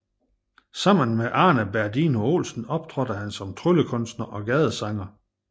Sammen med Arne Berdino Olsen optrådte han som tryllekunstner og gadesanger